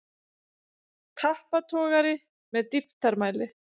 Tappatogari með dýptarmæli.